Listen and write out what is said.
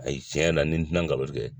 Ayi cɛn yɛrɛ la ni n tɛna nkalon tigɛ.